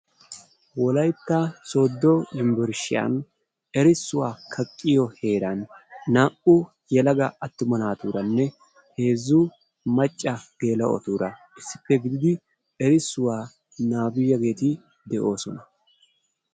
wolayitta sooddo yumburshiyaan erissuwaa kaqqiyoo heeran naa"u yelaga attuma naatuurannee heezzu macca geela'otuura issippe gididi erissuwaa nababiyaageeti doosona.